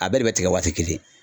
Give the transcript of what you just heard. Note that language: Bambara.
A bɛɛ de bɛ tigɛ waati kelen.